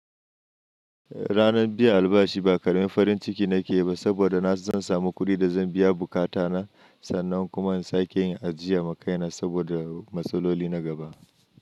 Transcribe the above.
Ranan biyu albashi ba karamin farin ciki nake ba saboda na san zan samu kuɗi da zan biya buƙata na sannan kuma in sake yin ajiya ma kaina saboda matsaloli na gaba.